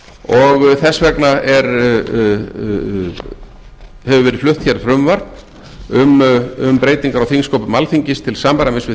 og þess vegna hefur verið flutt hér frumvarp um breytingar á þingsköpum alþingis til samræmis við